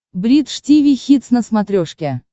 бридж тиви хитс на смотрешке